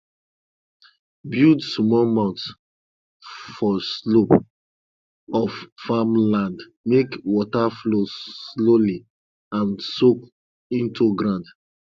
build small mound for slope of farm land make water flow slowly and soak into ground